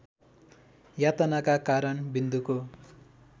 यातनाका कारण विन्दुको